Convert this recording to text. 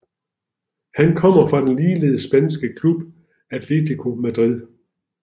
Han kom fra den ligeledes spanske klub Atlético Madrid